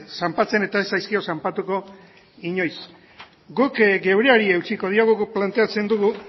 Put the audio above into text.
zanpatzen eta ez zaizkio zanpatuko inoiz guk geureari eutsiko diogu guk planteatzen dugu